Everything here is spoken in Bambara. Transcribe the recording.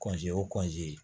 kɔnse o